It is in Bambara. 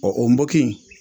Ɔ o npogi in